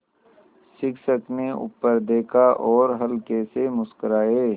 शिक्षक ने ऊपर देखा और हल्के से मुस्कराये